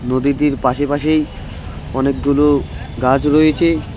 নদীটির পাশেপাশেই অনেকগুলো গাছ রয়েছে।